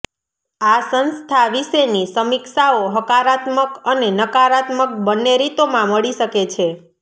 આ સંસ્થા વિશેની સમીક્ષાઓ હકારાત્મક અને નકારાત્મક બંને રીતોમાં મળી શકે છે